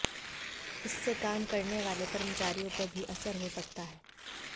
इससे काम करने वाले कर्मचारियों पर भी असर हो सकता है